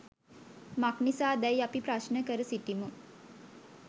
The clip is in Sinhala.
මක් නිසා දැ යි අපි ප්‍රශ්න කර සිටිමු